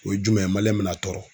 O ye jumɛn ye mali in bɛ na tɔɔrɔ.